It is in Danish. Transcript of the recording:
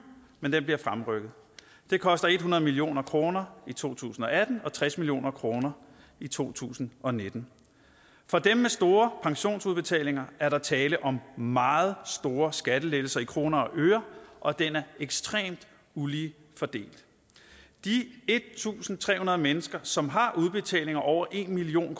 men den bliver fremrykket og det koster hundrede million kroner i to tusind og atten og tres million kroner i to tusind og nitten for dem med store pensionsudbetalinger er der tale om meget store skattelettelser i kroner og øre og den er ekstremt ulige fordelt de en tusind tre hundrede mennesker som har udbetalinger over en million